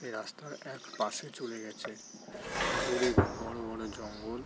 এ রাস্তার এক পাশে চলে গেছে । দূরে বড়ো বড়ো জঙ্গল।